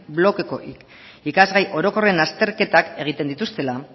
blokeko ikasgai orokorren azterketak egiten dituztela